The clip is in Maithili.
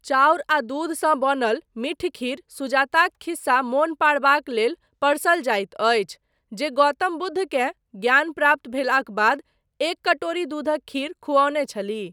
चाउर आ दूध सँ बनल मीठ खीर सुजाताक खिस्सा मोन पाड़बाक लेल परसल जाइत अछि, जे गौतम बुद्धकेँ ज्ञान प्राप्त भेलाक बाद एक कटोरी दूधक खीर खुऔने छलीह।